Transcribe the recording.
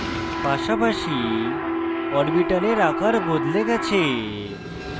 পাশাপাশি orbital আকার বদলে গেছে